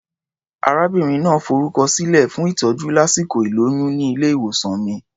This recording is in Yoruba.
Arábìnrin náà forúkọsílẹ̀ fún ìtọ́jú lásìkò ìlóyún ní ilé-ìwòsàn mi.